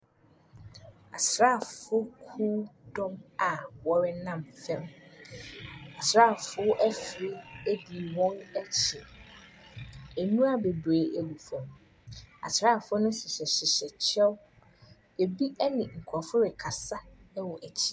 Asrafokuw dɔm a wɔnam fam. Asrafo afiri di wɔn akyi. N wura bebree gu fam. Asrafo no hyehyɛ kyɛw. Ebi ne nkrɔfo rekasa wɔ akyi.